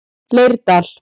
Leirdal